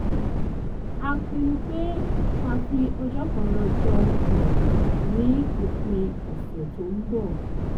a pinnu pé ká fi ọjọ́ kan lọ jọun pọ̀ ní òpin ọ̀sẹ̀ tó ń bọ̀